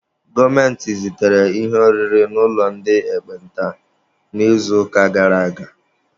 Gọọmenti zitere ihe oriri n'ụlọ ndị ekpenta n'izuụka gara aga.